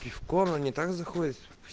пивко но не так заходит